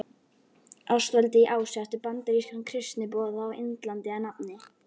Ástvaldi í Ási eftir bandarískan kristniboða á Indlandi að nafni